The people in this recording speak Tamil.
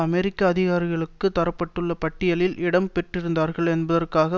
அமெரிக்க அதிகாரிகளுக்கு தர பட்டுள்ள பட்டியலில் இடம் பெற்றிருந்தார்கள் என்பதற்காக